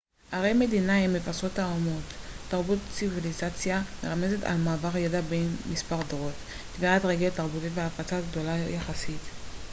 ערי-מדינה הן מבשרות האומות תרבות ציביליזציה מרמזת על מעבר ידע בין מספר דורות טביעת רגל תרבותית והפצה גדולה יחסית